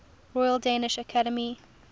royal danish academy